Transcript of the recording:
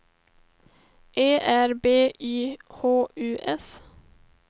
Ö R B Y H U S